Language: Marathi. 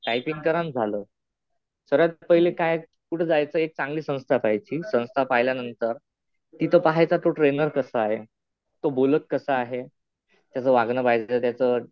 टायपिंग करा आणि झालं. सर्वात पहिले काय कुठं जायचं एक चांगली संस्था पाहायची. संस्था पाहिल्यानंतर, तिथं पाहायचं तो ट्रेनर कसा आहे. तो बोलत कसा आहे. त्याच वागणं पाहायचं. त्याचं